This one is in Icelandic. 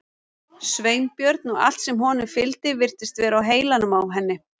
Sveinbjörn og allt sem honum fylgdi virtist vera á heilanum á henni.